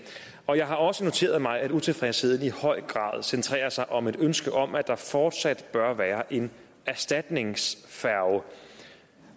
og jeg har også noteret mig at utilfredsheden i høj grad centrerer sig om et ønske om at der fortsat bør være en erstatningsfærge